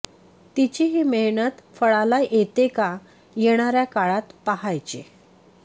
तिची ही मेहनत फळाला येते का येणाऱ्या काळात पाहायचे